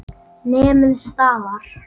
Nemið staðar!